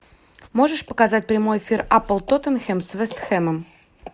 можешь показать прямой эфир апл тоттенхэм с вест хэмом